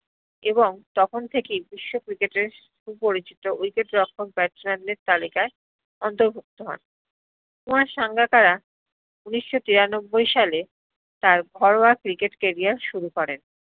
এবং তখন থেকেই বিশ্ব cricket এ পরিচিত wicket রক্ষক batsman দের তালিকায় অন্তরগুপ্ত হন কুমার সাঙ্গাকারা উনিশ্য তেরানব্বই সালে তার ঘরোয়া cricket career শুরু করেন